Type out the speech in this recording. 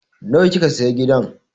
Nawa kika sayi gidan?